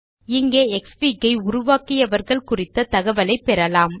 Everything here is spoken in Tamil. இங்கே க்ஸ்ஃபிக் ஐ உருவாக்கியவர்கள் குறித்த தகவலைப் பெறலாம்